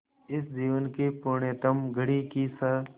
इस जीवन की पुण्यतम घड़ी की स्